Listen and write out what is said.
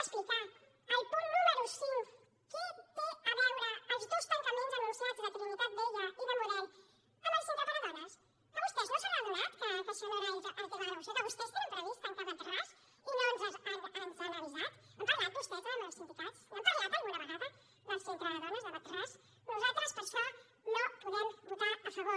al punt número cinc què tenen a veure els dos tancaments anunciats de trinitat vella i de model amb el centre per a dones que vostès no se n’han adonat que això no era el tema de la moció que vostès tenen previst tancar wadras i no ens han avisat han parlat vostès amb els sindicats n’han parlat alguna vegada del centre de dones de wad ras nosaltres per això no hi podem votar a favor